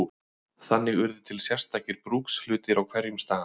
Þannig urðu til sértækir brúkshlutir á hverjum stað.